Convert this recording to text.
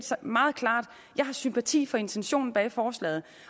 set meget klart at jeg har sympati for intentionen bag forslaget